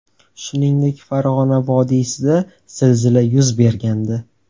Shuningdek, Farg‘ona vodiysida zilzila yuz bergandi .